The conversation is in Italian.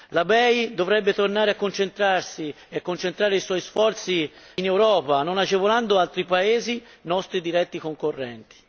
La BEI dovrebbe tornare a concentrarsi e concentrare i suoi sforzi in Europa, non agevolando altri paesi nostri diretti concorrenti!